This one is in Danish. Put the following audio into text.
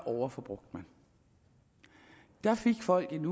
overforbrugte man der fik folk en